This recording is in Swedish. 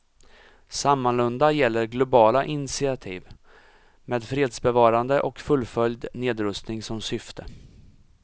Sammalunda gäller globala initiativ med fredsbevarande och fullföljd nedrustning som syfte.